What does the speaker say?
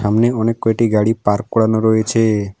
অনেক কয়টি গাড়ি পার্ক করানো রয়েছে।